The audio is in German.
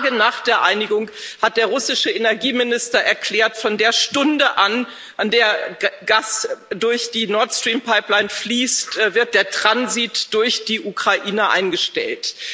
Nur Tage nach der Einigung hat der russische Energieminister erklärt Von der Stunde an, zu der Gas durch die Nord Stream Pipeline fließt, wird der Transit durch die Ukraine eingestellt.